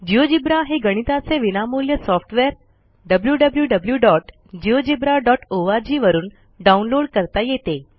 GeoGebra हे गणिताचे विनामूल्य सॉफ्टवेअर wwwgeogebraorg वरून डाऊनलोड करता येते